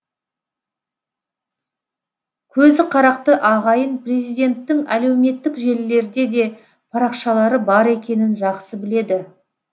көзі қарақты ағайын президенттің әлеуметтік желілерде де парақшалары бар екенін жақсы біледі